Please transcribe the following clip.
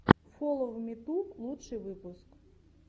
фоловмиту лучший выпуск